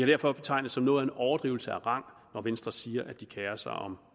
derfor betegnes som noget af en overdrivelse af rang når venstre siger at de kerer sig om